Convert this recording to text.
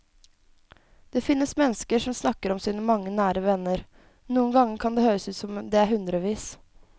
Det finnes mennesker som snakker om sine mange nære venner, noen ganger kan det høres ut som om det er hundrevis.